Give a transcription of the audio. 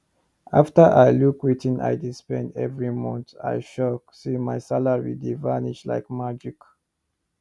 after i look wetin i dey spend every month i shock say my salary dey vanish like magic